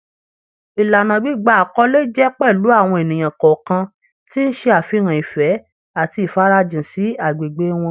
Ìlànà gbígba àkọlé jẹ́ pẹ̀lú àwọn ènìyàn kọ̀ọ̀kan tí ń ṣe àfihàn ìfẹ́ àti ìfarajìn sí agbègbè wọn